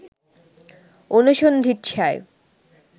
অনুসন্ধিৎসায়